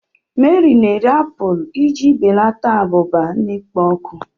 Mary na-eri mkpụrụ apụl iji belata abụba na-ekpo ọkụ.